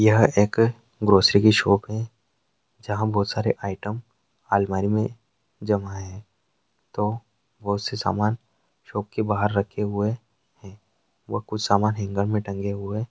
यह एक grocery shop है जहां बहुत सारे आईटम अलमारी में जमा है तो बहुत सारी सामान शॉप के बाहर रखे हुए व कुछ सामान हेंगर में टंगे हुए --